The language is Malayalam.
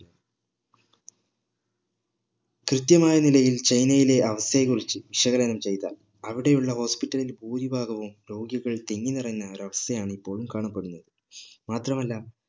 കൃത്യമായ നിലയിൽ ചൈനയിലെ അവസ്ഥയെ കുറിച്ച് വിശകലം ചെയ്താൽ അവിടെ ഉള്ള hospital ഇൽ ഭൂരിഭാഗവും രോഗികൾ തിങ്ങി നിറഞ്ഞ ഒരവസ്ഥയാണ് ഇപ്പോഴും കാണപ്പെടുന്നത് മാത്രമല്ല